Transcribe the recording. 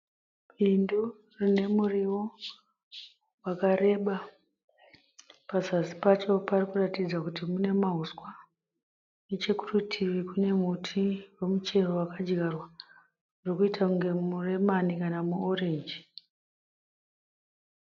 Bindu rine muriwo wakareba. Pazasi pacho parikuratidza kuti mune mahuswa. Nechekurutivi kune muti wemuchero wakadyarwa, uri kuita kunge muremani kana muorenji.